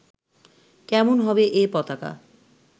কেমন হবে এ পতাকা